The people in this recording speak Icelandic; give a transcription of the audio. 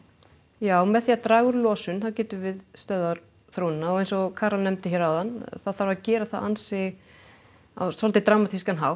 já með því að draga úr losun getum við stöðvað þróunina og eins og Carol nefndi hér áðan þá þarf að gera það á svolítið dramatískan hátt